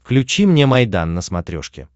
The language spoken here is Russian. включи мне майдан на смотрешке